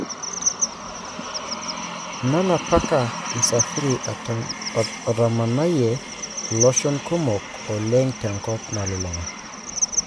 Nala:Paka Msafiri otamanayie loshon kumok oleng tenkop nalulunga.